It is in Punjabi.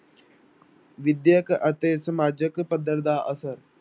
ਵਿਦਿਅਕ ਅਤੇ ਸਮਾਜਿਕ ਪੱਧਰ ਦਾ ਅਸਰ।